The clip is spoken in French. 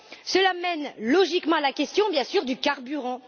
Cela mène logiquement à la question, bien sûr, du carburant.